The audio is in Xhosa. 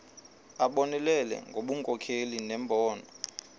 abonelele ngobunkokheli nembono